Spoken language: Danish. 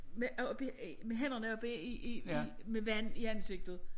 Med op i med hænderne oppe i i i med vand i ansigtet